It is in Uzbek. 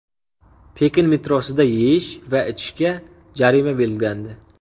Pekin metrosida yeyish va ichishga jarima belgilandi.